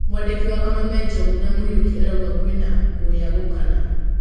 Mwandĩki wa Kameme Njogu wa Mũriuki arauga kwĩna kũgayũkana